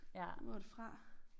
Hvor det fra?